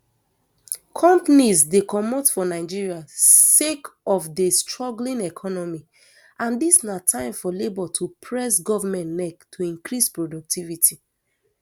companies dey comot for nigeria sake of di struggling economy and dis na time for labour to press goment neck to increase productivity